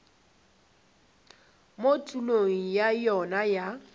mo tulong ya yona ya